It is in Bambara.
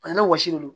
A ni wɔsi de don